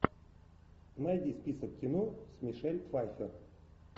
найди список кино с мишель пфайфер